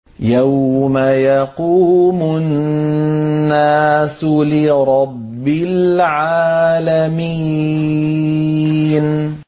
يَوْمَ يَقُومُ النَّاسُ لِرَبِّ الْعَالَمِينَ